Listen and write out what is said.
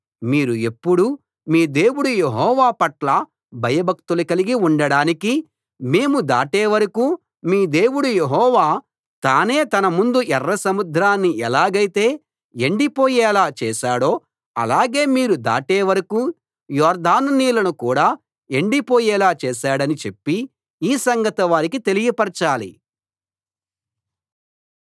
మీరు ఎప్పుడూ మీ దేవుడు యెహోవా పట్ల భయభక్తులు కలిగి ఉండడానికీ మేము దాటేవరకూ మీ దేవుడు యెహోవా తానే మన ముందు ఎర్ర సముద్రాన్ని ఎలాగైతే ఎండి పోయేలా చేశాడో అలాగే మీరు దాటే వరకూ యొర్దాను నీళ్ళను కూడా ఎండి పోయేలా చేశాడని చెప్పి ఈ సంగతి వారికి తెలియపరచాలి